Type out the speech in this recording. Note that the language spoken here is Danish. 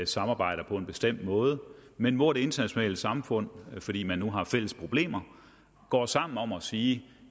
samarbejder på en bestemt måde men hvor det internationale samfund fordi man nu har fælles problemer går sammen om at sige